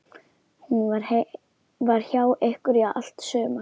Hún var hjá ykkur í allt sumar.